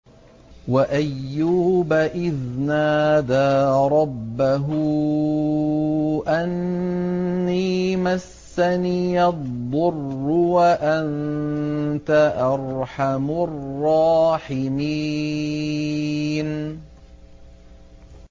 ۞ وَأَيُّوبَ إِذْ نَادَىٰ رَبَّهُ أَنِّي مَسَّنِيَ الضُّرُّ وَأَنتَ أَرْحَمُ الرَّاحِمِينَ